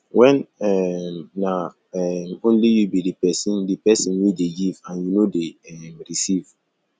when um na um only you be di person di person wey dey give and you no dey um receive